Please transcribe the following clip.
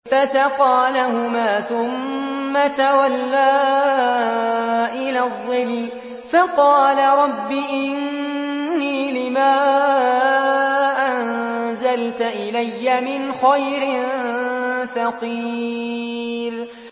فَسَقَىٰ لَهُمَا ثُمَّ تَوَلَّىٰ إِلَى الظِّلِّ فَقَالَ رَبِّ إِنِّي لِمَا أَنزَلْتَ إِلَيَّ مِنْ خَيْرٍ فَقِيرٌ